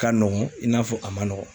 Ka nɔgɔn i n'a fɔ a man nɔgɔ.